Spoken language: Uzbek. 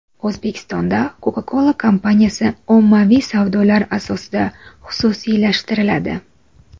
O‘zbekistonda Coca-Cola kompaniyasi ommaviy savdolar asosida xususiylashtiriladi.